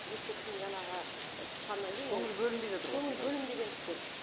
мектептен жаңағы шыққаннан кейін көңіл бөлінбей жатыр ғой сонда көңіл бөлінбегендіктен